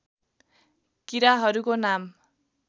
किराहरूको नाम